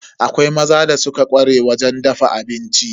Akwai maza da suka ƙware wajen dafa abinci.